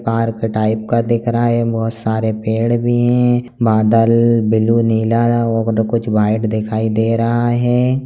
Park type का दिख रहा है बहुत सारे पेड़ भी है बादल ब्लू नीला और कुछ व्हाइट दिखाई दे रहा है ।